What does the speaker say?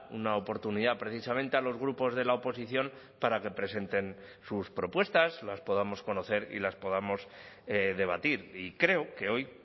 una oportunidad precisamente a los grupos de la oposición para que presenten sus propuestas las podamos conocer y las podamos debatir y creo que hoy